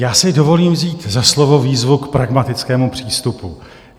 Já si dovolím vzít za slovo výzvu k pragmatickému přístupu.